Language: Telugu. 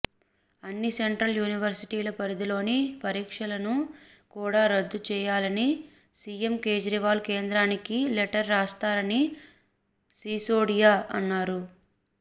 అన్ని సెంట్రల్ యూనివర్సిటీల పరిధిలోని పరీక్షలను కూడా రద్దు చేయాలని సీఎం కేజ్రీవాల్ కేంద్రానికి లెటర్ రాస్తారని సిసోడియా అన్నారు